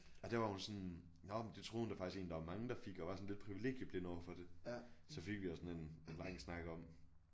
Og det var hun sådan nåh men det troede hun da faktisk egentlig der var mange der fik og var sådan lidt privilegieblind overfor det så fik os sådan en lang snak om